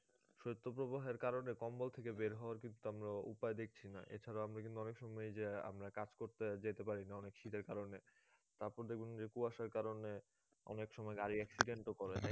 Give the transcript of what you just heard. শত্য প্রবাহের কারনে কম্বল থেকে বের হওয়ার কিন্তু আমরা উপায় দেখছিনা এছাড়াও আমরা কিন্তু অনেক সময় এই যে আমরা কাজ করতে যেতে পারিনা অনেক শীতের কারণে তারপর দেখুন যে কুয়াশার কারণে অনেক সময় গাড়ি accident ও করে